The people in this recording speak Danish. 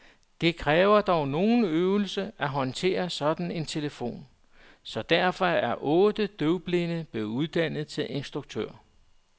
Det kræver dog noget øvelse at håndtere sådan en telefon, så derfor er otte døvblinde blevet uddannet til instruktører.